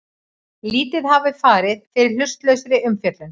Lítið hafi farið fyrir hlutlausri umfjöllun